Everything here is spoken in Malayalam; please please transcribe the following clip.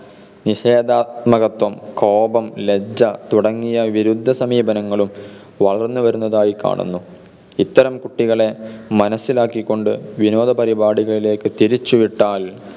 നിഷേകാൽമകത്വം, കോപം, ലജ്ജ തുടങ്ങിയ വിരുദ്ധ സമീപനങ്ങളും വളന്നുവരുന്നതായി കാണുന്നു. ഇത്തരം കുട്ടികളെ മനസിലാക്കികൊണ്ട് വിനോദ പരിപാടികൾക്കു തിരിച്ചു വിട്ടാൽ,